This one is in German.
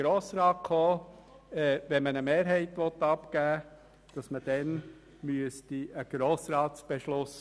Wenn man also eine Mehrheit abgeben möchte, wäre dann ein Beschluss des Grossen Rats notwendig.